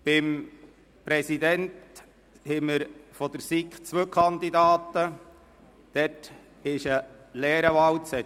Für den Präsidenten der SiK haben wir zwei Kandidaten, hierfür gibt es einen leeren Wahlzettel.